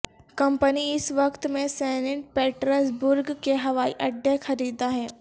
company اس وقت میں سینٹ پیٹرز برگ کے ہوائی اڈے خریدا ہے